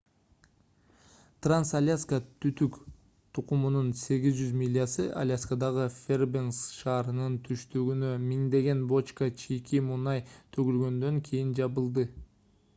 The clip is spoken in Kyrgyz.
транс-альяска түтүк тутумунун 800 милясы аляскадагы фэрбенкс шаарынын түштүгүнө миңдеген бочка чийки мунай төгүлгөндөн кийин жабылды